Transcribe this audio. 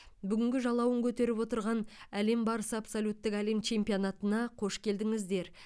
бүгінгі жалауын көтеріп отырған әлем барысы абсолюттік әлем чемпионатына қош келдіңіздер